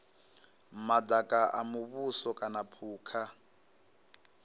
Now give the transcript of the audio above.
madaka a muvhuso kana phukha